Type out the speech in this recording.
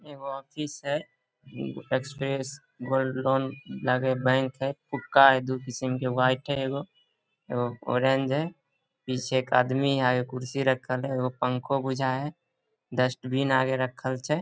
एगो ऑफिस है express gold loan लागे बैंक है फुटका है दू किस्म के व्हाइट है एगो एगो ऑरेंज है पीछे एक आदमी है कुर्सी रखल है एक पंखो बुझाये है डस्टबिन आगे रखल छै ।